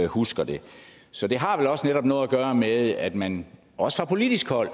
husker det så det har vel også netop noget at gøre med at man også fra politisk hold